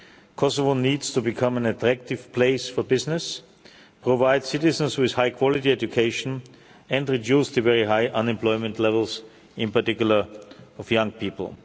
Kosovo needs to become an attractive place for business, provide citizens with high-quality education and reduce the very high unemployment levels, in particular among young people.